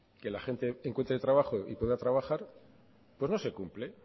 que la gente encuentre trabajo y pueda trabajar no se cumple